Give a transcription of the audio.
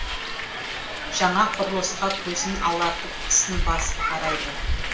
жаңа құрылысқа көзін алартып тісін басып қарайды